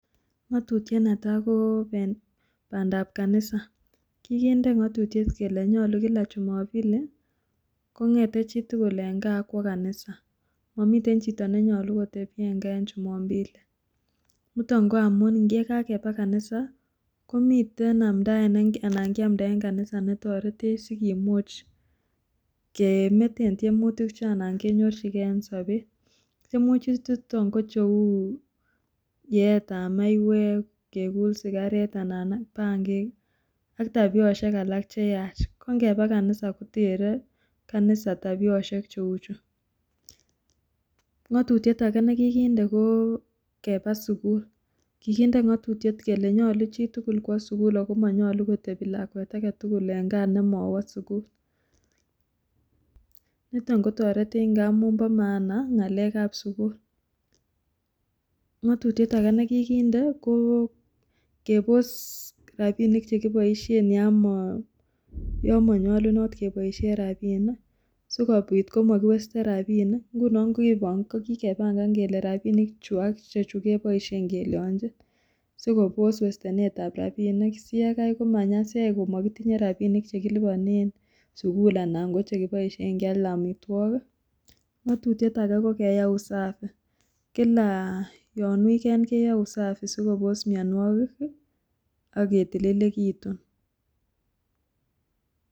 Ng'otutiet netaa ko bandab kanisa, kikinde ng'otutiet kelee nyolu kila jumompili kong'ete chitukul en kaa ak kwoo kanisa, momiten chito nenyolu kotebi en kaa en jumompili, niton ko amun yekakebal kanisa komiten amndaet ne anan kiamnda en kanisa netoretech sikomuch kemeten tiemutik chee anan kenyorchike en sobet, tiemutik choton ko cheuu yeetab maiwek, kekul sikaret anan bangik AK tabioshek alak cheyach ko ng'eba kanisa kotere kanisa tabioshek cheuchu, ng'otutiet nekikinde ko kebaa sukul, kikinde ng'otutiet kelee nyolu chitukul kwoo sukul ak ko monyolu kotebi lakwet aketukul nemowo sukul, niton kotoretech ng'amun bo maana ng'alekab sukul, ng'otutiet akee nekikinde ko kebos rabinik chekiboishen yoon monyolunot keboishen rabinik sikobit komokiwesten rabinik, ng'unon ko kikebang'an kelee rabinik chuu ak ichechu keboishen kelionjin sikobos westenetab rabinik sikai yekai komanyasech komokitinye rabinik chekiliponen sukul anan chekiboishen kial amitwokik, ng'otutiet akee ko keyai usafi, kila yoon weekend keyoe usafi sikobos mionwokik ak kotililekitun.